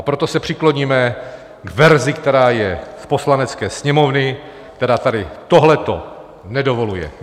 A proto se přikloníme k verzi, která je z Poslanecké sněmovny, která tady tohleto nedovoluje.